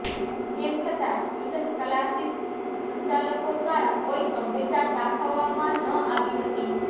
તેમ છતા tuition classes સંચાલકો દ્વારા કોઇ ગંભીરતા દાખવવામાં ન આવી હતી